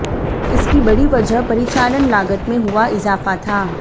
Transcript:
इसकी बड़ी वजह परिचालन लागत में हुआ इजाफा था